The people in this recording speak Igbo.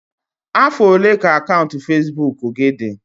Afọ ole ka akaụntụ Facebook gị dị?